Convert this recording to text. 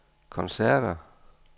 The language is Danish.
koncerter